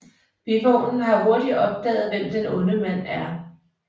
Bivognen har hurtigt opdaget hvem den onde mand er